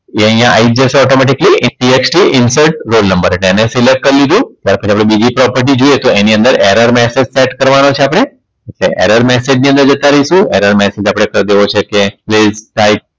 એ અહીંયા આવી આવી જ જશે automaticallyTXTinsert roll number એટલે એને select કર દીધું ત્યાર પછી આપણે બીજી property જોઈએ એની અંદર error messsge set કરવાનો છે આપણે error message ની અંદર જતા રહીશું error message આપણે કર દેવો છે કે